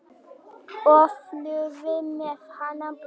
og flúði með hana burt.